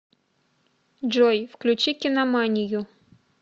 джой включи киноманию